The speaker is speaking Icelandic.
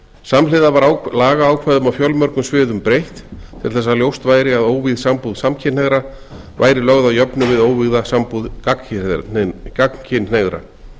samhliða var lagaákvæðum á fjölmörgum sviðum breytt til þess að ljóst væri að óvígð sambúð samkynhneigðra væri lögð að jöfnu við óvígða sambúð gagnkynhneigðra